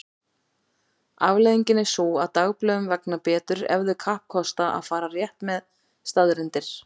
Afleiðingin er sú að dagblöðum vegnar betur ef þau kappkosta að fara rétt með staðreyndir.